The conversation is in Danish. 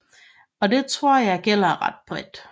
Og det tror jeg gælder ret bredt